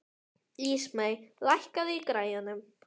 Ísmey, lækkaðu í græjunum.